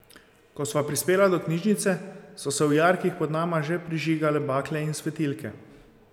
Ko sva prispela do knjižnice, so se v jarkih pod nama že prižigale bakle in svetilke.